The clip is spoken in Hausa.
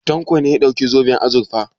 Tanko ne ya ɗauki zoben azurfa.